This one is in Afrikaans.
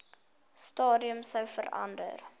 stadium sou verander